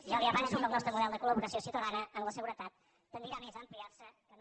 ja li avanço que el nostre model de col·laboració ciutadana en la seguretat tendirà més a ampliar se que no